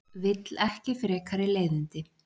Vill ekki frekari leiðindi.